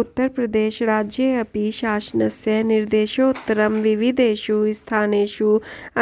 उत्तरप्रदेशराज्येऽपि शासनस्य निर्देशोत्तरं विविधेषु स्थानेषु